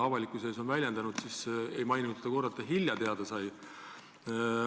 Avalikuse ees esinedes ei maininud ta kordagi, et ta hilja teada sai.